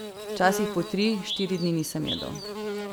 Včasih po tri, štiri dni nisem jedel.